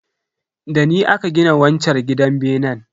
Dani aka gina wanchar gidan benen.